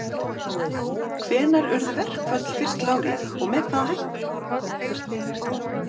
Hvenær urðu verkföll fyrst lögleg og með hvaða hætti?